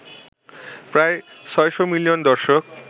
প্রায় ৬০০ মিলিয়ন দর্শক